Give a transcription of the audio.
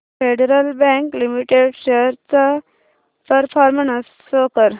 federal Bank Limited shares चा performance show कर